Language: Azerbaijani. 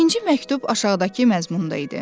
İkinci məktub aşağıdakı məzmunda idi: